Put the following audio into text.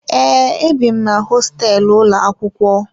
Ee, ebi m na hosteelu ụlọ akwụkwọ